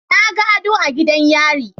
Naga ado a gidan yare